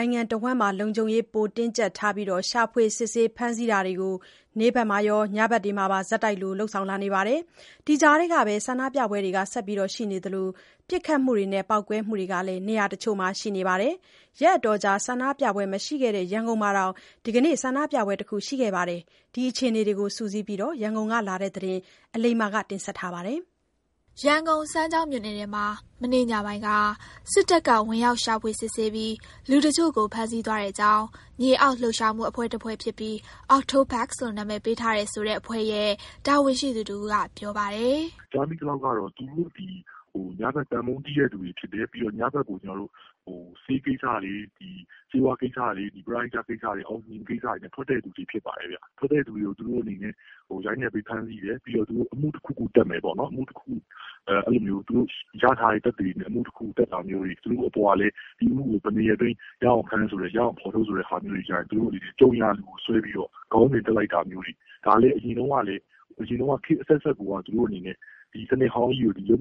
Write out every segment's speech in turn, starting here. ိုင်ငံတဝန်းမှာ လုံခြုံရေး ပိုတင်းကြပ်ထားပြီ ရှာဖွေ စစ်ဆေး ဖမ်းဆီးတာတွေကိုလည်း နေ့ဘက်ရော ညဘက်တွေမှာပါ ဆက်တိုက်လိုလုပ်လာနေပါတယ်။ ဒီကြားထဲကပဲ ဆန္ဒပြပွဲတွေ ဆက်ရှိနေသလို ပစ်ခတ်မှုတွေနဲ့ ပေါက်ကွဲမှုတွေလည်း နေရာတချို့မှာ ရှိနေပါတယ်။ ရက်အတော်ကြာ ဆန္ဒပြပွဲမရှိခဲ့တဲ့ ရန်ကုန်မှာ တောင် ဒီကနေ့ ဆန္ဒပြပွဲတခုရှိခဲ့ပါတယ်။ ဒီအခြေအနေတွေစုစည်းပြီး ရန်ကုန်ကလာတဲ့သတင်းကို အလိမ္မာက ပြောပြပါမယ်။ ရန်ကုန်၊ စမ်းချောင်းမြို့နယ်ထဲမှာ မနေ့ညပိုင်းက စစ်တပ်က ဝင်ရောက်ရှာဖွေစစ်ဆေးပြီး လူတချို့ကို ဖမ်းဆီးသွားတဲ့အကြောင်း မြေအောက်လှုပ်ရှားမှုအဖွဲ့တဖွဲ့ဖြစ်ပြီး OCTOPUS လို့ အမည်ပေးထားတယ် ဆိုတဲ့အဖွဲ့ရဲ့ တာဝန်ရှိသူတဦးကပြောပါတယ်။ “ကြားမိသလောက်ကတော့ သူတို့သည် ညဖက် သံပုံးတီးတဲ့လူတွေ ဖြစ်တယ်။ ညဖက်ကို ဆေးကိစ္စတွေ၊ ပရဟိတကိစ္စတွေ အောက်စီဂျင်ကိစ္စတွေနဲ့ အပြင်ထွက်တဲ့သူတွေ ဖြစ်ပါတယ်ဗျ။ အဲ့လို ထွက်တဲ့သူတွေကို ရိုက်နှက် ဖမ်းဆီးမယ်၊ ပုဒ်မတခုခု တပ်မယ်ပေါ့နှော်။ သူတို့ ရထားတဲ့ သက်သေတွေနဲ့ အမှုတခုလုပ်ပြီးတော့ အပေါ်ကလည်း သူတို့ကို ဒီအမှုအတွက် ဘယ်နှစ်ရက်အတွင်း ရအောင်ဖမ်းဆိုတာမျိုးတွေလုပ်တော့ သူတို့က ကြုံရာလူဆွဲပြီးတော့ ခေါင်းစဉ်တပ်လိုက်တာမျိုးတွေပေါ့။ ဒါလည်း အရင်တုန်းကလည်း ခေတ်အဆက်ဆက်ကိုက သူတို့အနေနဲ့ ဒီစနစ်ဟောင်းကြီးကို သူတို့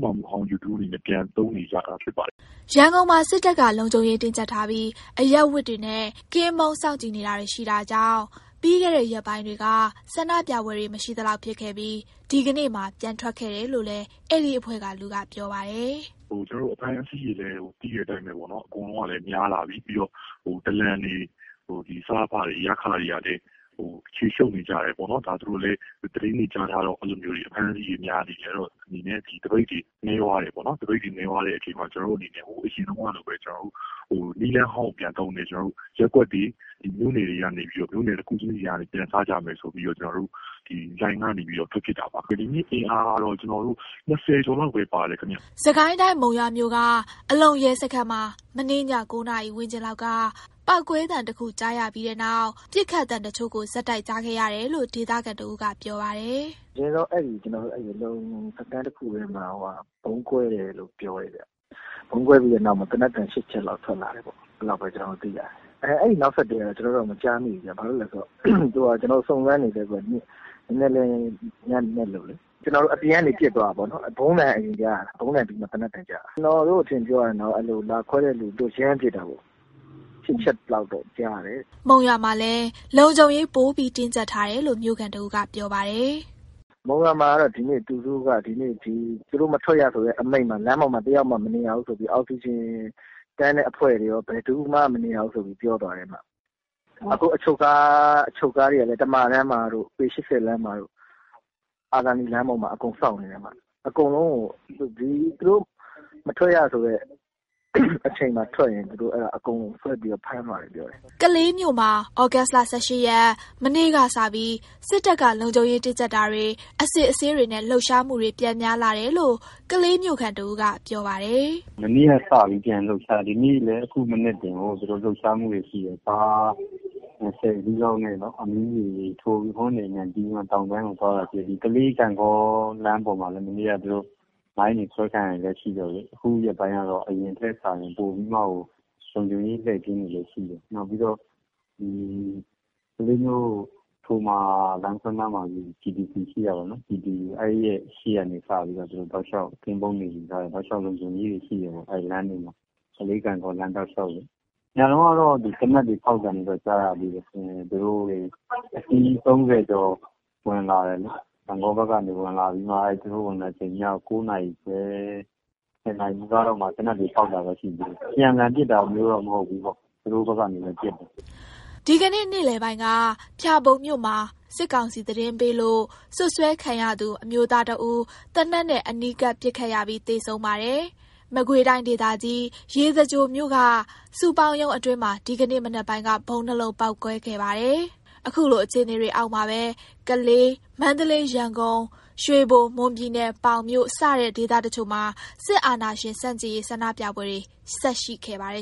ပြန်သုံးနေကြတာဖြစ်ပါတယ်ခင်ဗျ။” ရန်ကုန်မှာ စစ်တပ်က လုံခြုံရေးတင်းကျပ်ထားပြီး အရပ်ဝတ်တွေနဲ့ ကင်းပုန်းစောင့်ကြည့်တာတွေ ရှိနေတာကြောင့် ပြီးခဲ့တဲ့ရက်ပိုင်းတွေက ဆန္ဒပြပွဲတွေ မရှိသလောက်ဖြစ်ခဲ့ပြီး ဒီကနေ့မှာ ပြန်ထွက်ခဲ့တယ်လို့လည်း အဲဒီအဖွဲ့ကလူကပြောပါတယ်။ “ကျွန်တော်တို့ အဖမ်းအဆီးတွေကလဲ သိတဲ့အတိုင်းပဲ ပေါ့နှော်၊ အကုန်လုံးကလဲ များလာပြီ၊ ပြီးတော့ ဒလန်တွေ၊ စအဖတွေကလည်း ခြေရှုပ်နေကြတယ်ပေါ့နှော်။ ဒါသူတို့လဲ သတင်းတွေ ကြားထားတော့ အဖမ်းအဆီးတွေ များနေတယ်။ အဲ့တော့ သပိတ်တွေ နည်းသွားတယ်ပေါ့နှော်။ နည်းသွားတော့ ကျွန်တော်တို့ အရင် နည်းလမ်းဟောင်းကိုပဲ ပြန်သုံးပြီးတော့ ရပ်ကွက်တွေ မြို့နယ်တွေကနေပြီးတော့ တခုချင်းစီကနေ ပြန်စကြမယ်ဆိုပြီးတော့ လှိုင်ကနေပြီးတော့ ထွက်ဖြစ်တာပါ ခင်ဗျ။ ဒီနေ့ အင်အားကတော့ ၂၀ ကျော်လောက်ပဲ ပါတယ်ခင်ဗျ။” စစ်ကိုင်းတိုင်း၊ မုံရွာမြို့က အလုံရဲစခန်းမှာ မနေ့ည ၉ နာရီဝန်းကျင်လောက်က ပေါက်ကွဲသံတခုကြားရပြီးတဲ့နောက် ပစ်ခတ်သံတချို့ကို ဆက်တိုက်ကြားခဲ့ရတယ်လို့ ဒေသခံတဦးက ပြောပါတယ်။ “အရင်ဆုံး စခန်းတခုထဲမှာ ဗုံးကွဲတယ်လို့ ပြောတယ်ဗျ။ ဗုံးကွဲပြီးတဲ့နောက် သေနတ်သံ ၈ ချက်လောက် ထွက်လာတယ်ပေါ့။ အဲ့လောက်ပဲ ကျွန်တော်တို့ သိရတယ်။ အဲ့ဒီနောက်ဆက်တွဲကတော့ ကျွန်တော်တို့လဲ စုံစမ်းနေဆဲပေါ့၊ မနေ့က ညနက်လို့လေ။ အပြင်ကနေ ပစ်သွားတာပေါ့၊ ဗုံးသံက အရင်ကြားရတာ၊ ဗုံးသံပြီးမှ သေနတ်သံ ကြားရတာ။ ကျွန်တော်တို့ အထင်ပြောရရင်တော့ လာခွဲတဲ့သူတို့ ရမ်းပစ်တာပေါ့။ ၈ ချက်လောက်တော့ ကြားရတယ်။” မုံရွာမှာလည်း လုံခြုံရေး ပိုပြီးတင်းကျပ်ထားတယ်လို့ မြို့ခံတဦးကပြောပါတယ်။ “မုံရွာမှာ ဒီနေ့သူတို့က သူတို့ရဲ့ မထွက်ရဆိုတဲ့ အမိန့်အောက်မှာ လမ်းပေါ်မှာ တယောက်မှ မနေရဘူးဆိုပြီး အောက်စီဂျင်တန်းတဲ့ အဖွဲ့တွေရော ဘယ်သူမှ မနေရဘူးဆိုပြီး ပြောသွားတယ်ဗျ။ ခု အချုပ်ကားတွေကလည်း တမာတန်းမှာရော၊ ပေ ၈၀ လမ်းမှာရော အာဇာနည်လမ်းပေါ်မှာရော အကုန်စောင့်နေတယ်။ အကုန်လုံးကို သူတို့ မထွက်ရဆိုတဲ့အချိန်မှာထွက်ရင် အကုန်ဆွဲပြီးတော့ ဖမ်းသွားတယ်။” ကလေးမြို့မှာ သြဂုတ်လ ၁၈ ရက် မနေ့ကစပြီး စစ်တပ်က လုံခြုံရေးတင်းကြပ်တာတွေ၊ အစစ်အဆေးတွေနဲ့ လှုပ်ရှားမှုတွေ ပြန်များလာတယ်လို့ ကလေးမြို့ခံတဦးက ပြောပါတယ်။ “မနေ့က စပြီး ပြန်လှုပ်ရှားတယ်။ အခုလဲ ခုမနက်တင်ကို ကားဆယ်စီးလောက်နဲ့ ဟွန်းတွေတီးပြီး တောင်ပိုင်းကိုသွားတာတွေ့တယ်။ ကလေး ဂန့်ဂေါလမ်းပိုင်းမှာလည်း မနေ့က သူတို့ မိုင်းတွေ ခွဲခံရတာတွေလည်းရှိတော့လေ၊ ခုရက်ပိုင်းက အရင်ထက် စာရင် ပိုပြီးမှကို လုံခြုံရေး လှည့်ကင်းတွေလည်း ရှိတယ်။ နောက်ပြီးတော့ ကလေးမြို့ ထိုမာလမ်းခွဲနားမှာ GTC ရှိတယ်။ အဲ့ဒီနားကနေ စပြီးတော့ တောက်လျောက် ကင်းပုန်းတွေ ရှိတယ်။ တောက်လျောက် လုံခြုံရေးတွေ ယူထားတယ်ပေါ့။ အဲဒီမှာ ကလေး ဂန့်ဂေါလမ်းတောက်လျောက်။ ညတုန်းက သေနတ်ဖောက်သံတွေတော့ ကြားရတယ်။ ညက အစီး ၃၀ ကျော် ဝင်လာတယ်။ ဂန့်ဂေါဖက်ကနေ ဝင်လာပြီးတော့ ည ၉ နာရီခွဲ ၁၀ နာရီ နီးပါးလောက်မှာ သေနတ်တွေ ဖောက်တာတော့ ရှိတယ်။ အပြန်အလှန်ပစ်တာမျိုးတော့ မဟုတ်ဘူး။ သူတို့ တဘက်တည်းပစ်သွားတာ။” ဒီကနေ့ နေ့လည်ပိုင်းက ဖျာပုံမြို့မှာ စစ်ကောင်စီသတင်းပေးလို့ စွပ်စွဲခံရသူ အမျိုးသားတဦး သေနတ်နဲ့ အနီးကပ် ပစ်ခတ်ခံရပြီး သေဆုံးပါတယ်။ မကွေးတိုင်းဒေသကြီး ရေစကြိုမြို့က စုပေါင်းရုံးအတွင်းမှာ ဒီကနေ့ မနက်ပိုင်းက ဗုံး ၂ လုံးပေါက်ကွဲခဲ့ပါတယ်။ အခုလို အခြေအနေတွေအောက်မှာပဲ ကလေး၊ မန္တလေး၊ ရန်ကုန်၊ ရွှေဘို၊ မွန်ပြည်နယ် ပေါင်မြို့ စတဲ့ ဒေသတစ်ချို့မှာ စစ်အာဏာရှင် ဆန့်ကျင်ရေး ဆန္ဒပြပွဲတွေ ဆက်ရှိခဲ့ပါတယ်